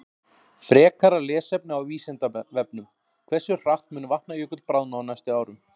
Frekara lesefni á Vísindavefnum: Hversu hratt mun Vatnajökull bráðna á næstu árum?